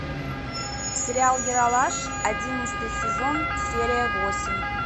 сериал ералаш одиннадцатый сезон серия восемь